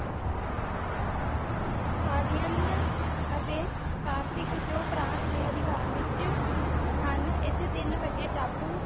ਸਾਵਧਾਨੀਆਂ ਅਤੇ ਫਾਰਸਿਕ ਜੋ ਫਰਾਂਸ ਦੇ ਅਧਿਕਾਰ ਵਿਚ ਹਨ ਇਥੇ ਤਿੰਨ ਵੱਡੇ ਟਾਪੂ